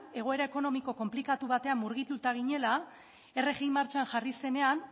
egoera ekonomiko konplikatu batean murgilduta ginela rgia martxan jarri zenean